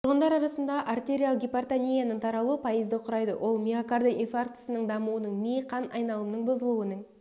тұрғындар арасындағы артериалық гипертонияның таралуы пайызды құрайды ол миокарда инфарктісінің дамуының ми қан айналымының бұзылуының